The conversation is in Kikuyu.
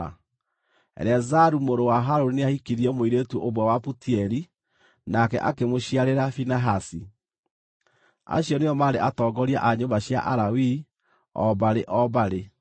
Eleazaru mũrũ wa Harũni nĩahikirie mũirĩtu ũmwe wa Putieli, nake akĩmũciarĩra Finehasi. Acio nĩo maarĩ atongoria a nyũmba cia Alawii, o mbarĩ o mbarĩ.